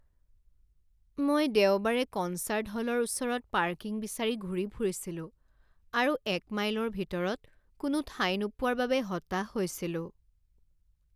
মই দেওবাৰে কনচাৰ্ট হলৰ ওচৰত পাৰ্কিং বিচাৰি ঘূৰি ফুৰিছিলো আৰু এক মাইলৰ ভিতৰত কোনো ঠাই নোপোৱাৰ বাবে হতাশ হৈছিলো।